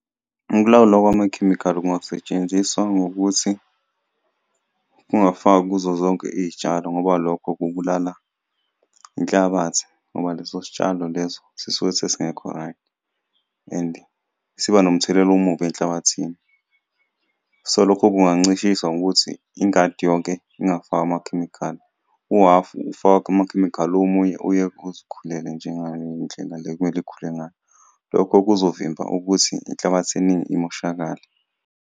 Ukulawulwa kwamakhemikhali kungasetshenziswa ngokuthi kungafakwa kuzo zonke iyitshalo ngoba lokho kubulala inhlabathi, ngoba leso sitshalo lezo sisuke sesingekho-right and siba nomthelela omubi enhlabathini. So, lokho kungancishiswa ngokuthi ingadi yonke ingafakwa amakhemikhali, uhhafu ufakwe amakhemikhali, omunye uyekwe uzikhulele njengayo indlela le ekumele ikhule ngayo, lokho kuzovimba ukuthi inhlabathi eningi imoshakale.